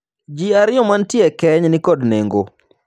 Jii ariyo mantie e keny ni kod nengo.